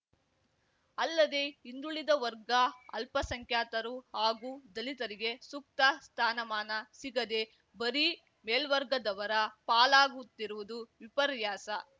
ಅಲ್ಲದೆ ಹಿಂದುಳಿದ ವರ್ಗ ಅಲ್ಪಸಂಖ್ಯಾತರು ಹಾಗೂ ದಲಿತರಿಗೆ ಸೂಕ್ತ ಸ್ಥಾನಮಾನ ಸಿಗದೆ ಬರೀ ಮೇಲ್ವರ್ಗದವರ ಪಾಲಾಗುತ್ತಿರುವುದು ವಿಪರ್ಯಾಸ